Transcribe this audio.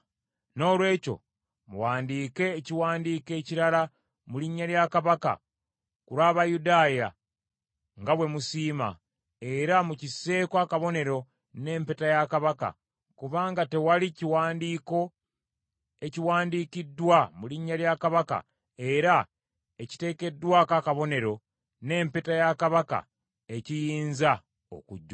Noolwekyo muwandiike ekiwandiiko ekirala mu linnya lya Kabaka ku lw’Abayudaaya nga bwe musiima, era mukisseeko akabonero n’empeta ya Kabaka, kubanga tewali kiwandiiko ekiwandiikiddwa mu linnya lya Kabaka era ekiteekeddwako akabonero n’empeta ya Kabaka ekiyinza okujjululwa.”